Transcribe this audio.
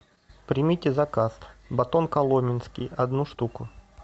примите заказ батон коломенский одну штуку